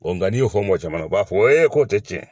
Nga n'i y'o fɔ mɔgɔ caman na o b'a fɔ k'o tɛ tiɲɛ ye.